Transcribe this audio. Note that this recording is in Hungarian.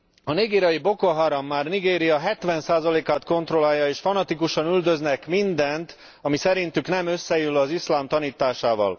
A nigériai Boko Haram már Nigéria 70 át kontrollálja, és fanatikusan üldöznek mindent, ami szerintük nem összeillő az iszlám tanításával.